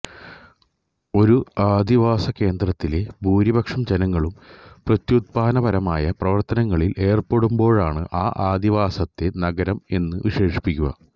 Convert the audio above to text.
ഒരു അധിവാസകേന്ദ്രത്തിലെ ഭൂരിപക്ഷം ജനങ്ങളും പ്രത്യുത്പാദനപരമായ പ്രവർത്തനങ്ങളിൽ ഏർപ്പെടുമ്പോഴാണ് ആ അധിവാസത്തെ നഗരം എന്നു വിശേഷിപ്പിക്കുക